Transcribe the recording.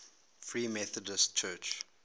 free methodist church